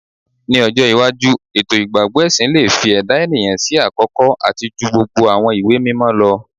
Ni ojo iwaju eto igbagbọ ẹsin le fi ẹda eniyan si akọkọ ati ju gbogbo awọn iwe-mimọ lọ